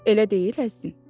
Elə deyil, əzizim?